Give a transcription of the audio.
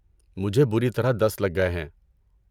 مجھے بری طرح دست لگ گئے ہیں۔